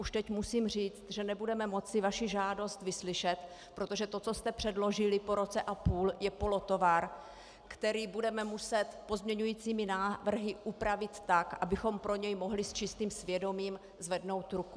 Už teď musím říct, že nebudeme moci vaši žádost vyslyšet, protože to, co jste předložili po roce a půl, je polotovar, který budeme muset pozměňujícími návrhy upravit tak, abychom pro něj mohli s čistým svědomím zvednout ruku.